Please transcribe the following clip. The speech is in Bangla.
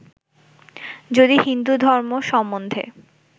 যদি হিন্দু ধর্ম সম্বন্ধে